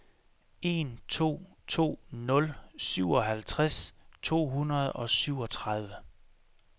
en to to nul syvoghalvtreds to hundrede og syvogtredive